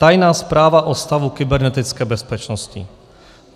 Tajná zpráva o stavu kybernetické bezpečnosti.